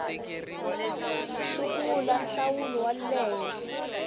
sungula nhlawulo wa le henhla